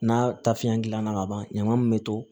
N'a ta fiɲɛ gilanna ka ban ɲaman min bɛ to